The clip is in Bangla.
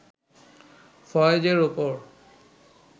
ফয়েজের ওপর